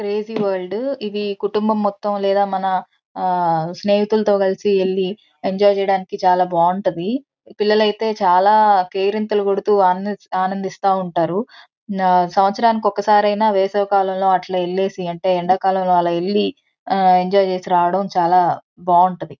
Crazy world . ఇవి కుటుంబం మొత్తం లేదా మన ఆ స్నేహితులతో కలసి ఎల్లి ఎంజాయ్ చేయడానికి చాలా బాగుంటాది. పిల్లలైతే చాలా కేరింతలు కొడుతూ ఆనందిస్ ఆనందిస్తా ఉంటారు. సంవత్సరానికి ఒక్క సారైనా వేసవి కాలంలో అట్లా వెల్లేసి అంటే ఎండా కాలంలో అలా వెళ్లి ఆ ఎంజాయ్ చేసి రావడం చాలా బాగుంటది.